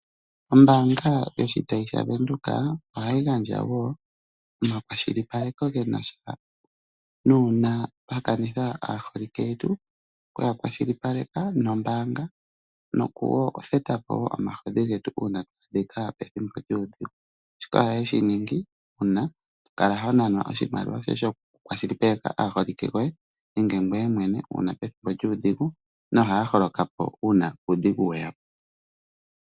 Ombaanga yoshitayi shaWindhoek ohayi gandja woo omakwashilipaleko gena sha naamba twakanitha aaholike yetu toka kwashilipaleka nombaanga nokutheta po omahodhi getu uuna twaadhika pethimbo lyuudhigu, shika ohaye shiningi uuna tokala honanwa oshimaliwa shokukwashilipaleka aaholike yoye nenge ngweye mwene uuna pethimbo lyuudhigu nohaa holoka po uuna uudhigu weya po.